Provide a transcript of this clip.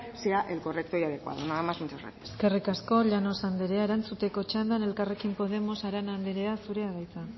sea el correcto y adecuado nada más muchas gracias eskerrik asko llanos anderea erantzuteko txanda elkarrekin podemos arana anderea zurea da hitza